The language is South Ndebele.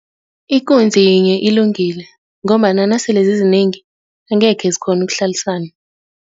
Ikunzi yinye ilungile ngombana nasele zizinengi angekhe zikghone ukuhlalisana.